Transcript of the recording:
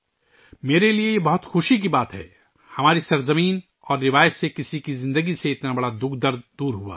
میرے لئے یہ بڑی خوشی کی بات ہے کہ ہماری سرزمین اور روایت سے اتنا بڑا دکھ کسی کی زندگی سے دور ہو گیا